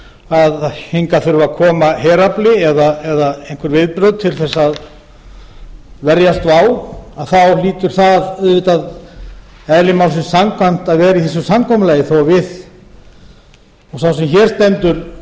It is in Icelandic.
að hingað þurfi að koma herafli eða einhver viðbrögð til þess að verjast vá þá hlýtur slíkt að vera í samkomulaginu þótt sá sem hér stendur